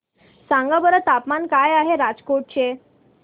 सांगा बरं तापमान काय आहे राजकोट चे